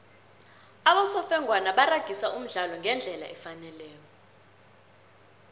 abosofengwana baragisa umdlalo ngendlela efaneleko